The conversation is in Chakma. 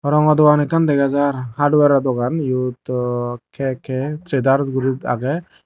rongo dogan ekkan dega jaar hardware ro dogan eyot kk jedars guri agey.